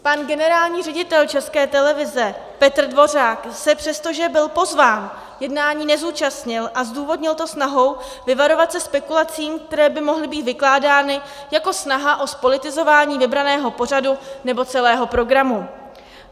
Pan generální ředitel České televize Petr Dvořák se přesto, že byl pozván, jednání nezúčastnil, a zdůvodnil to snahou vyvarovat se spekulací, které by mohly být vykládány jako snaha o zpolitizování vybraného pořadu nebo celého programu.